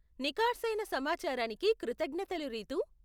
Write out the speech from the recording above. నికార్సయిన సమాచారానికి కృతజ్ఞతలు రితూ.